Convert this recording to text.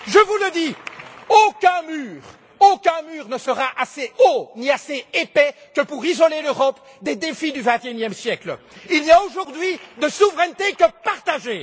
Je vous le dis, aucun mur, aucun mur ne sera assez haut, ni assez épais, pour isoler l'Europe des défis du 21e siècle. Il n'y a aujourd'hui de souveraineté que partagée.